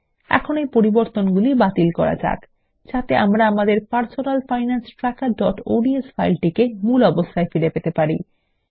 এখন এই পরিবর্তনগুলি বাতিল করা যাক যাতে আমরা আমাদের personal finance trackerঅডস ফাইল টিকে মূল অবস্থায় ফিরে পেতে পারি